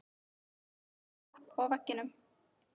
En það var hljótt á veginum.